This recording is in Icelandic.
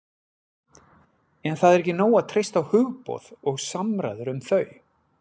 en það er ekki nóg að treysta á hugboð og samræður um þau